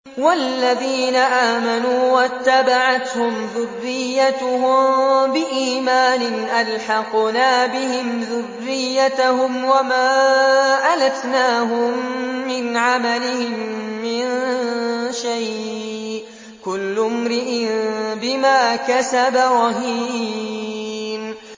وَالَّذِينَ آمَنُوا وَاتَّبَعَتْهُمْ ذُرِّيَّتُهُم بِإِيمَانٍ أَلْحَقْنَا بِهِمْ ذُرِّيَّتَهُمْ وَمَا أَلَتْنَاهُم مِّنْ عَمَلِهِم مِّن شَيْءٍ ۚ كُلُّ امْرِئٍ بِمَا كَسَبَ رَهِينٌ